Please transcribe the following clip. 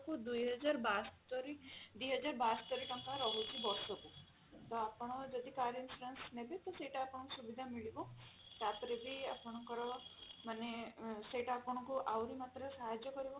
ଦୁଇ ହଜାର ବାସ୍ତୋରି ଦୁଇ ହଜାର ବାସ୍ତୋରି ଟଙ୍କା ରହୁଛି ବର୍ଷକୁ ତ ଆପଣ ଯଦି car insurance ନେବେ ତ ସେଇଟା ଆପଣଙ୍କୁ ସୁବିଧା ମିଳିବ ତାପରେ ବି ଆପଣଙ୍କର ମାନେ ସେଇଟା ଆପଣଙ୍କୁ ଆହୁରି ମାତ୍ର ସାହାଯ୍ୟ କରିବ